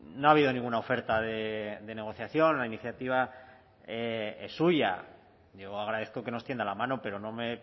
no ha habido ninguna oferta de negociación la iniciativa es suya yo agradezco que nos tienda la mano pero no me